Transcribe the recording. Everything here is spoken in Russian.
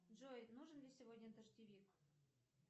джой нужен ли сегодня дождевик